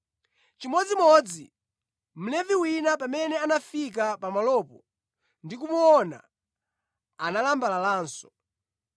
Chimodzimodzinso, Mlevi wina pamene anafika pa malopo ndi kumuona, analambalalanso.